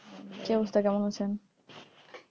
কি অবস্থা কেমন আছেন?